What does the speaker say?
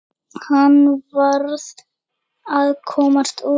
Hann varð að komast út.